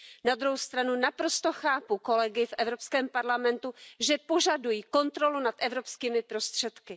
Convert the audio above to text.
Na druhou stranu naprosto chápu kolegy v Evropském parlamentu, že požadují kontrolu nad evropskými prostředky.